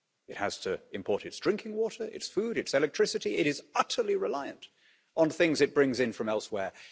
It has to import its drinking water, its food, its electricity it is utterly reliant on things it brings in from elsewhere.